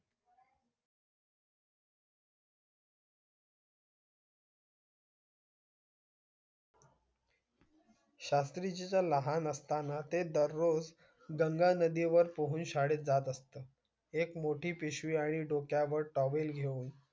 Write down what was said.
शास्त्री जी लहान असताना ते दररोज गंगा नदी वर पोहून शाळेत जात असत एक मोठी पिशवी आणि डोक्यवार towel घेऊन